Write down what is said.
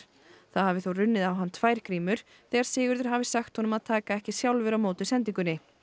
það hafi þó runnið á hann tvær þegar Sigurður hafi sagt honum að taka ekki sjálfur á móti sendingunni